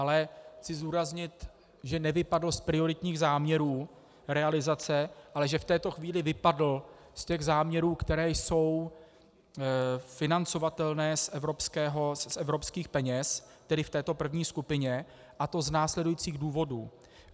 Ale chci zdůraznit, že nevypadl z prioritních záměrů realizace, ale že v této chvíli vypadl z těch záměrů, které jsou financovatelné z evropských peněz, tedy v této první skupině, a to z následujících důvodů.